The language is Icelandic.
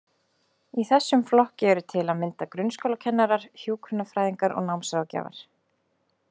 Í þessum flokki eru til að mynda grunnskólakennarar, hjúkrunarfræðingar og námsráðgjafar.